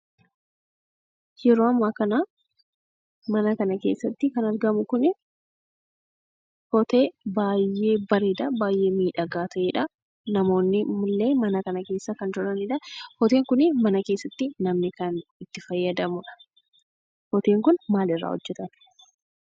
Yeroo amma kana mana kana keessatti kan argamu kun otee baay'ee bareeda, baay'ee miidhaga ta'edha. namoonnille Mana kana keessa kan jiranidha. otee kun mana keessatti namoonni kan itti fayyadamanidha. oteen kun maalirraa hojjetama?